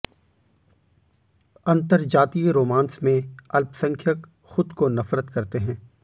अंतरजातीय romance में अल्पसंख्यक खुद को नफरत करते हैं